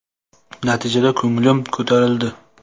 Natijadan ko‘nglim ko‘tarildi.